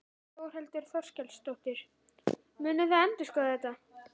Þórhildur Þorkelsdóttir: Munið þið endurskoða þetta?